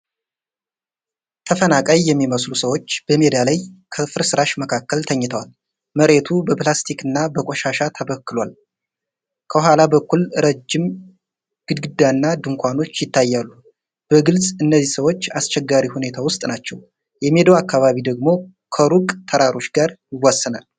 ተፈናቃይ የሚመስሉ ሰዎች በሜዳ ላይ ከፍርስራሽ መካከል ተኝተዋል። መሬቱ በፕላስቲክና በቆሻሻ ተበክሏል። ከኋላ በኩል ረጅም ግድግዳና ድንኳኖች ይታያሉ። በግልጽ፣ እነዚህ ሰዎች አስቸጋሪ ሁኔታ ውስጥ ናቸው። የሜዳው አካባቢ ደግሞ ከሩቅ ተራሮች ጋር ይዋሰናል።